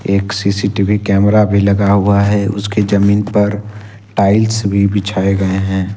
एक CCTV camera भी लगा हुआ है उसकी जमीन पर टाइल्स भी बिछाए गए हैं।